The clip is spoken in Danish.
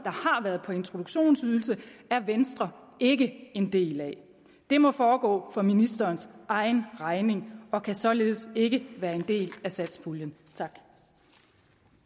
har været på introduktionsydelse er venstre ikke en del af det må foregå for ministerens egen regning og kan således ikke være en del af satspuljen